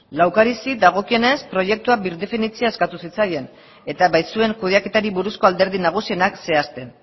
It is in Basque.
laukarizi dagokienez proiektua birdefinitzea eskatu zitzaien eta baitzuen kudeaketari buruzko alderdi nagusienak zehazten